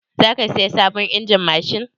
Za ka saya sabon injin mashin?